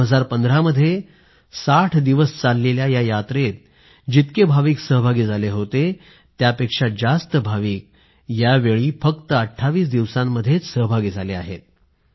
2015 मध्ये पूर्ण 60 दिवसापर्यंत चालणाऱ्या या यात्रेत जितके भाविक सहभागी झाले होते त्यापेक्षा जास्त भाविक यावेळी फक्त 28 दिवसात सहभागी झाले आहेत